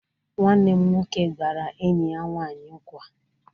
Nwanne m nwoke gbara enyi ya nwanyi nkwa.